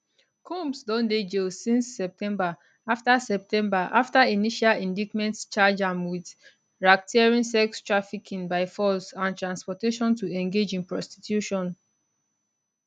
combs don dey jail since september afta september afta initial indictment charge am wit racketeering sex trafficking by force and transportation to engage in prostitution